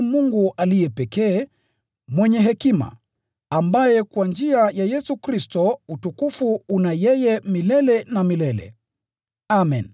Mungu aliye pekee, mwenye hekima, ambaye kwa njia ya Yesu Kristo utukufu ni wake milele na milele! Amen.